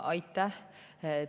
Aitäh!